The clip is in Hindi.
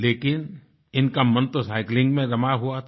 लेकिन इनका मन तो साइक्लिंग में रमा हुआ था